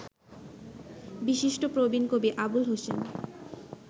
বিশিষ্ট প্রবীণ কবি আবুল হোসেন